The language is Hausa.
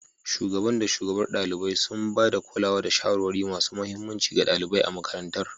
Shugaban da shugabar ɗalibai, sun ba da kulawa da shawarwari masu mahimmanci ga ɗalibai a makarantar.